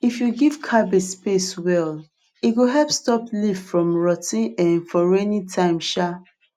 if you give cabbage space well e go help stop leaf from rot ten um for rainy time um